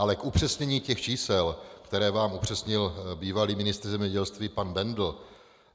Ale k upřesnění těch čísel, která vám upřesnil bývalý ministr zemědělství pan Bendl.